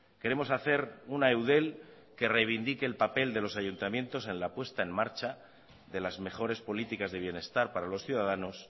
queremos hacer una eudel que reivindique el papel de los ayuntamientos en la puesta en marcha de las mejores políticas de bienestar para los ciudadanos